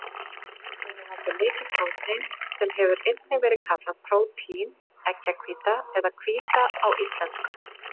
Egg innihalda mikið prótein, sem hefur einnig verið kallað prótín, eggjahvíta eða hvíta á íslensku.